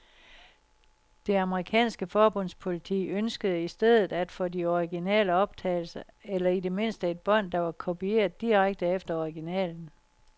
Det amerikanske forbundspoliti ønskede i stedet at få de originale optagelser, eller i det mindste et bånd, der var kopieret direkte efter originalen.